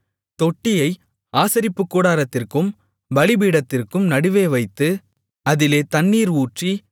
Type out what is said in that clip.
தொட்டியை ஆசரிப்புக்கூடாரத்திற்கும் பலிபீடத்திற்கும் நடுவே வைத்து அதிலே தண்ணீர் ஊற்றி